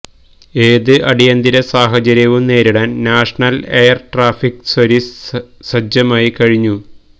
ഏത് അടിയന്തിര സാഹചര്യവും നേരിടാന് നാഷണല് എയര് ട്രാഫിക് സര്വീസ് സജ്ജമായിക്കഴിഞ്ഞു